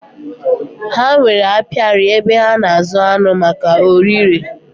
Ha nwèrè apiari, ebe ha na azụ aṅụ maka órí le